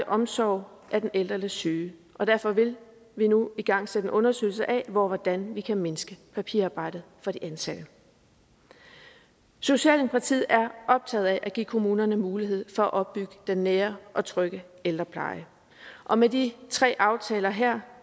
omsorg af den ældre eller syge og derfor vil vi nu igangsætte en undersøgelse af hvordan vi kan mindske papirarbejdet for de ansatte socialdemokratiet er optaget af at give kommunerne mulighed for at opbygge den nære og trygge ældrepleje og med de tre aftaler her